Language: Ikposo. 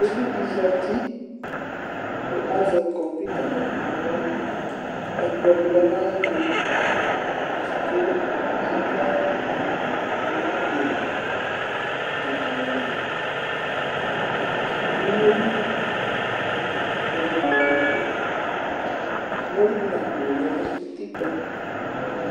Uvi dɩ zati kʋ azɛ kɔmpuita nʋ aɣla kʋ ɛkplɔ dɩ lɛ nʋ ayɛtʋ kʋ amɔ, tʋmatɩ, dzakalɩ, umoli kpɔdʋ nʋ kotoku, umoli dʋ nʋ akpo lɛ nʋ utikpǝ.